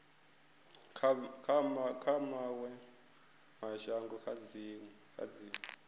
kha mawe mashango kha dziwe